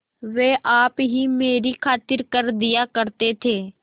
वे आप ही मेरी खातिर कर दिया करते थे